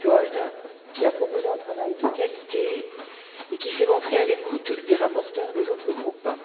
Giegold, qui a proposé un travail de qualité et qui s'est montré à l'écoute des rapporteurs des autres groupes.